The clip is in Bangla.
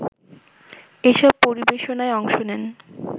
এসব পরিবেশনায় অংশ নেন